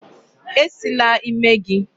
E Sila ímé gị!